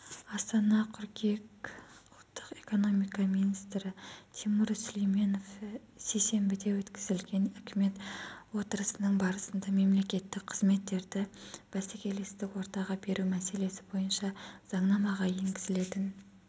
астана қыркүйек ұлттық экономика министрі тимур сүлейменов сейсенбіде өткізілген үкімет отырысының барысында мемлекеттік қызметтерді бәсекелестік ортаға беру мәселесі бойынша заңнамаға енгізілетін